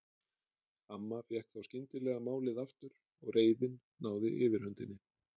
Amma fékk þá skyndilega málið aftur og reiðin náði yfirhöndinni.